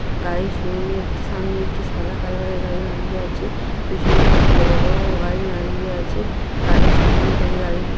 গাড়ির শোরুম -এ একটি সামনে একটি সাদা কালার -এর গাড়ি দাঁড়িয়ে আছে পেছনে দুটি বড় বড় গাড়ি দাঁড়িয়ে আছে গাড়ির শোরুম থেকে গাড়ি-ই--